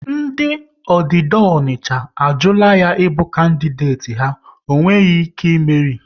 Ndị Ọdida Ọnicha a jula ya ịbụ kandideti ha, ọ gaghị e meri!